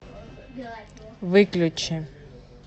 выключи